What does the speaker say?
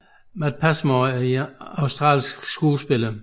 Matt Passmore er en australsk skuespiller